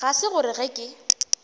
ga se gore ge ke